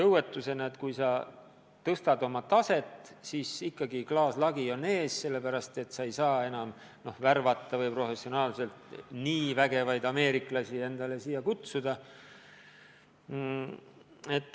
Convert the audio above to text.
Isegi kui nad tõstavad oma taset, siis ikkagi klaaslagi on ees, sellepärast, et nad ei saa enam vägevaid ameeriklasi endale appi kutsuda.